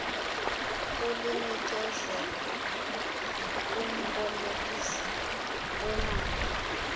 kulinikezela kumbolekisi weemali